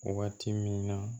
Waati min na